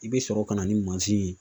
I be sɔrɔ ka na ni ye.